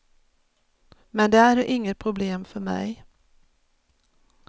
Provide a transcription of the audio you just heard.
Men det är inget problem för mig.